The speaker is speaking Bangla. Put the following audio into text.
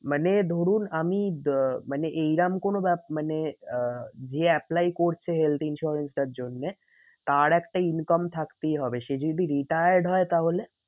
মানে ধরুন আমি আহ মানে এইরম কোনো মানে আহ যে apply করছে health insurance টার জন্যে তার একটা income থাকতেই হবে সে যদি retired হয় তাহলে?